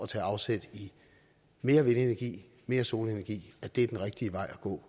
tage afsæt i mere vindenergi mere solenergi er den rigtige vej at gå